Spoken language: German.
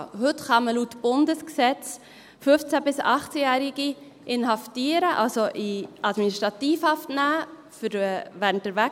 Heute kann man laut Bundesgesetz 15- bis 18-Jährige inhaftieren, also in Administrativhaft nehmen, während der Wegweisung.